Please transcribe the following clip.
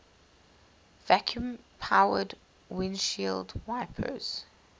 vacuum powered windshield wipers